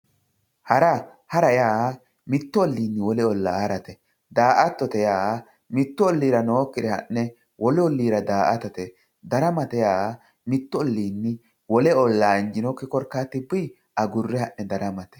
hara hara yaa mittu olliinni mitto ollaa harate daato yaa mittu ollira nooykire wolu olliira ha'ne daatate daramate yaa mittu olliinni wole olla injiinokki korkaatinni daramate